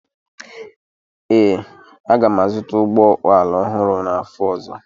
Ee, aga m azụta ụgbọ ala ọhụrụ n'afọ ọzọ